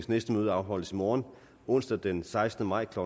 næste møde afholdes i morgen onsdag den sekstende maj to